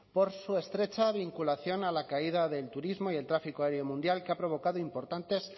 por su estrecha vinculación a la caída del turismo y al tráfico aéreo mundial que ha provocado importantes